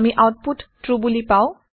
আমি output true বোলি পাওঁ